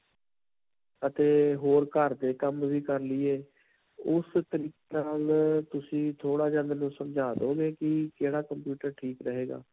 ਅਤੇ ਹੋਰ ਘਰ ਦੇ ਕੰਮ ਵੀ ਕਰ ਲਈਏ ਉਸ ਤਰੀਕੇ ਨਾਲ ਤੁਸੀ ਥੋੜਾ ਜਿਹਾ ਮੈਨੂੰ ਸਮਝਾ ਦਵੋਗੇ ਕਿ ਕਿਹੜਾ computer ਠੀਕ ਰਹੇਗਾ.